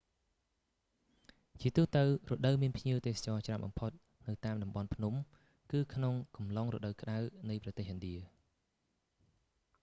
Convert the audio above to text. ជាទូទៅ រដូវមានភ្ញៀវទេសចរណ៍ច្រើនបំផុតនៅតាមតំបន់ភ្នំគឺក្នុងអំឡុងរដូវក្ដៅនៃប្រទេសឥណ្ឌា